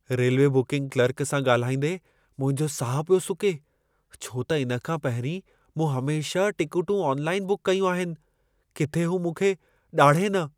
Railway booking clerk सां ॻाल्हाईंदे मुंहिंजो साहु पियो सुके, छो त इन खां पहिरीं मूं हमेशह टिकेटूं ऑनलाइन बुक कयूं आहिनि। किथे हू मूंखे ॾाढ़े न!